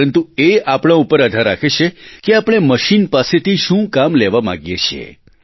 પરંતુ એ આપણાં ઉપર આધાર રાખે છે કે આપણે મશીન પાસેથી શું કામ લેવા માગીએ છીએ